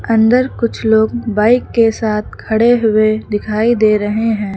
अंदर कुछ लोग बाइक के साथ खड़े हुए दिखाई दे रहे हैं।